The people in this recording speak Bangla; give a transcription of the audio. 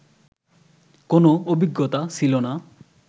কোনো অভিজ্ঞতা ছিল না